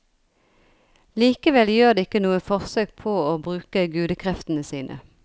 Likevel gjør de ikke noe forsøk på å bruke gudekreftene sine.